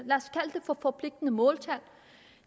for forpligtende måltal